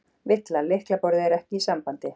VILLA: Lyklaborðið er ekki í sambandi.